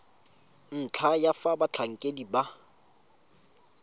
ntlha ya fa batlhankedi ba